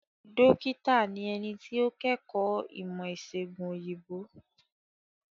Dókítà ni ẹni tí ó kẹ́kọ̀ọ́ ìmọ̀ ìsègùn òyìnbó.